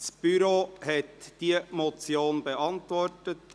Das Büro hat diese Motion beantwortet.